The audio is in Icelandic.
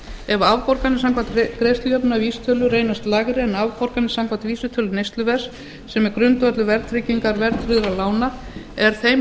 ef afborganir samkvæmt greiðslujöfnunarvísitölu reynast lægri en afborganir samkvæmt vísitölu neysluverðs sem er grundvöllur verðtryggingar verðtryggðra lána er þeim